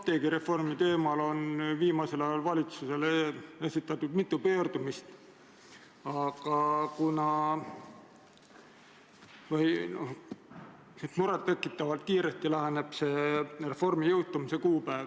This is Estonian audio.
Apteegireformi teemal on viimasel ajal valitsusele esitatud mitu pöördumist ja muret tekitavalt kiiresti läheneb reformi jõustumise kuupäev,